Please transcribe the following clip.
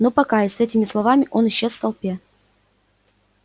ну пока и с этими словами он исчез в толпе